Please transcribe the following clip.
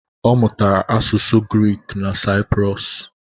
Ọ mụtara asụsụ Griik na Sayiprọs